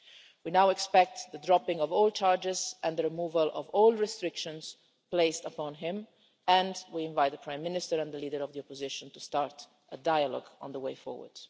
We now expect the dropping of all charges and the removal of all restrictions placed upon him and we invite the Prime Minister and the leader of the opposition to start a dialogue on the way forward.